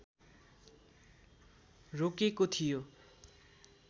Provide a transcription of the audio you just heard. रोकेको थियो